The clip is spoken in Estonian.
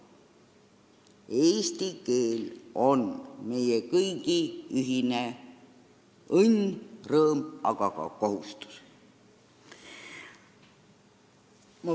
Eesti keel on meie kõigi ühine õnn, rõõm, aga ka kohustus.